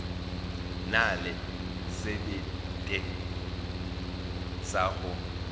na le sebete sa go